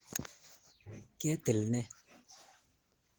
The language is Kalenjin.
Ketil ne?